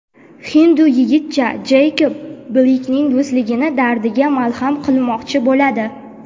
hindu yigitcha Jeykob Bleykning do‘stligini dardiga malham qilmoqchi bo‘ladi.